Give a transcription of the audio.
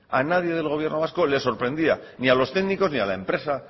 a nadie del gobierno vasco le sorprendía ni a los técnicos ni a la empresa